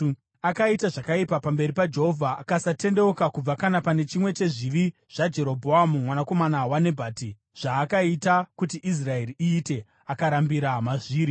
Akaita zvakaipa pamberi paJehovha akasatendeuka kubva kana pane chimwe chezvivi zvaJerobhoamu mwanakomana waNebhati, zvaakaita kuti Israeri iite; akarambira mazviri.